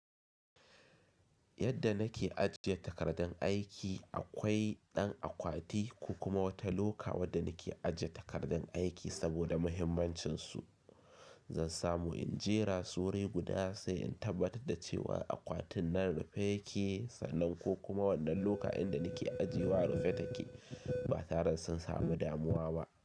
Yadda nake ajiye takardan aiki, akwai ɗan akwati ko kuma wata loka wadda nake ajiye takardan aiki saboda muhimmancinsu. Zan samu in jera su wuri guda sai in tabbatar da cewa akwatin nan rufe yake sannan ko kuma wannan loka inda nake ajiyewa rufe take ba tare da sun samu damuwa ba.